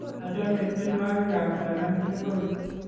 achame tienwokik ab Talam tokol